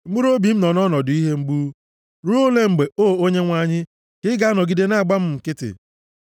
Mkpụrụobi m nọ nʼọnọdụ ihe mgbu. Ruo ole mgbe, O Onyenwe anyị, ka ị ga-anọgide na-agba m nkịtị?